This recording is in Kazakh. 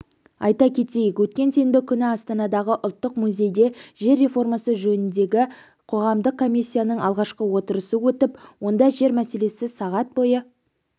айта кетейік өткен сенбі күні астанадағы ұлттық музейде жер реформасы жөніндегі қоғамдық комиссияның алғашқы отырысы өтіп онда жер мәселесі сағат бойы